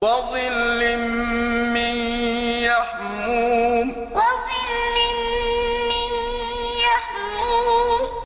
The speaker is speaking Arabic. وَظِلٍّ مِّن يَحْمُومٍ وَظِلٍّ مِّن يَحْمُومٍ